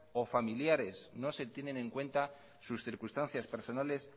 o familiares no se tienen en cuenta sus circunstancias personales